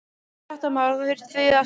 Fréttamaður: Og þá þurftuð þið að stoppa?